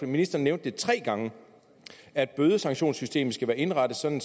ministeren nævnte tre gange at bødesanktionssystemet skal være indrettet sådan